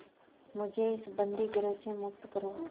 मुझे इस बंदीगृह से मुक्त करो